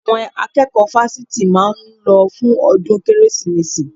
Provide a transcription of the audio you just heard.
Àwọn akẹ́kọ̀ọ́ fásitì máa lọ fún ọdún Kérésìmesì